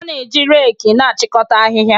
A na-eji reki na-achịkọta ahịhịa